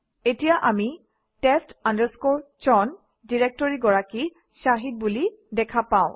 ইয়াত আমি test chown ডিৰেক্টৰীৰ গৰাকী শাহিদ বুলি দেখা পাওঁ